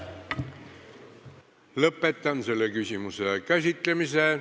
Lõpetan selle küsimuse käsitlemise.